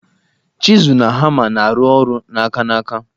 Chizụl na hama na arụ ọrụ aka n'aka.